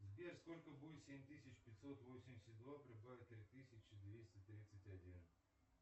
сбер сколько будет семь тысяч пятьсот восемьдесят два прибавить три тысячи двести тридцать один